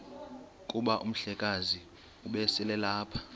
kuba umhlekazi ubeselelapha